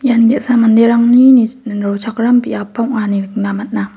ian ge·sa manderangni rochakram biapba ong·a ine nikna man·a.